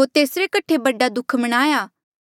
होर तेसरे कठे बड़ा दुःख मणाया